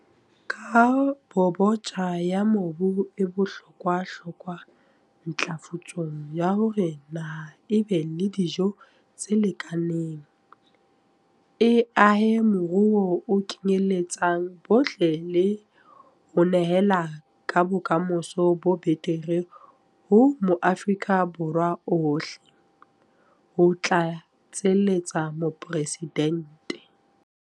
Kabobotjha ya mobu e bohlokwahlokwa ntlafatsong ya hore naha e be le dijo tse lekaneng, e ahe moruo o kenyeletsang bohle le ho nehela ka bokamoso bo betere ho Maafrika Borwa ohle, ho tlatseletsa Mopresidente.